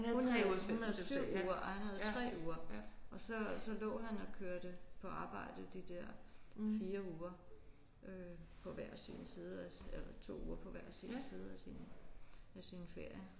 Hun havde hun havde 7 uger og han havde 3 uger og så så lå han og kørte på arbejde de der 4 uger øh på hver sin side af eller 2 uger på hver sin side af sin af sin ferie